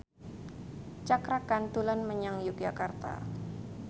Cakra Khan dolan menyang Yogyakarta